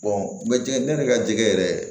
jɛgɛ ne yɛrɛ ka jɛgɛ yɛrɛ